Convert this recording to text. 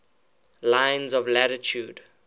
lines of latitude